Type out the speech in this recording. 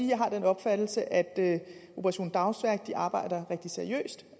jeg har den opfattelse at operation dagsværk arbejder rigtig seriøst